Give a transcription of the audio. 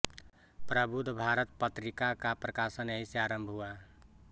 प्रबुद्ध भारत पत्रिका का प्रकाशन यहीं से आरम्भ हुआ